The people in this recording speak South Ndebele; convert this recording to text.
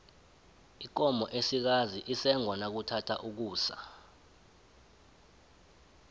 ikomo esikazi isengwa nakuthatha ukusa